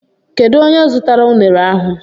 Kedu onye zụtara unere ahụ?